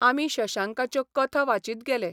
आमी शशांकाच्यो कथा वाचीत गेले.